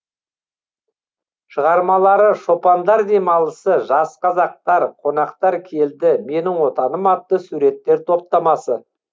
шығармалары шопандар демалысы жас қазақтар қонақтар келді менің отаным атты суреттер топтамасы